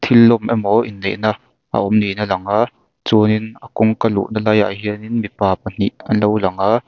thil lawm emaw inneihna a awm niin a lang a chuanin a kawngka luhna laiah hianin mipa pahnih anlo lang a.